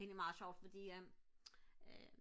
det er egentlig meget sjovt fordi at øh